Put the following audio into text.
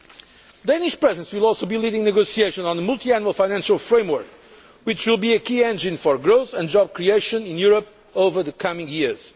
The Danish Presidency will also be leading negotiations on the Multiannual Financial Framework, which will be a key engine for growth and job creation in Europe over the coming years.